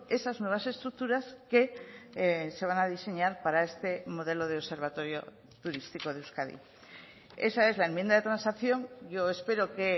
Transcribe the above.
esas nuevas estructuras que se van a diseñar para este modelo de observatorio turístico de euskadi esa es la enmienda de transacción yo espero que